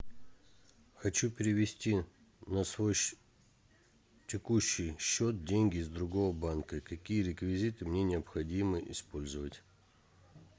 хочу перевести на свой текущий счет деньги с другого банка какие реквизиты мне необходимо использовать